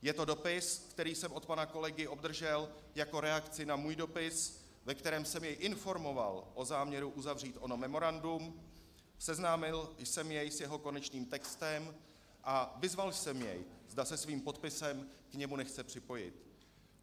Je to dopis, který jsem od pana kolegy obdržel jako reakci na svůj dopis, ve kterém jsem jej informoval o záměru uzavřít ono memorandum, seznámil jsem jej s jeho konečným textem a vyzval jsem jej, zda se svým podpisem k němu nechce připojit.